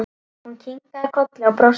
Hún kinkaði kolli og brosti.